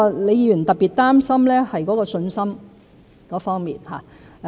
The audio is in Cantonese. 李議員特別擔心的是信心方面。